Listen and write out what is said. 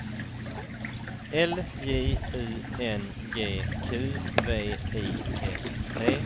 L J U N G Q V I S T